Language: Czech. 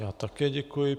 Já také děkuji.